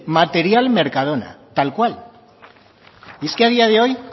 material mercadona tal cual es que a día de hoy